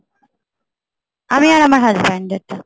আমি আর আমার husband এরটা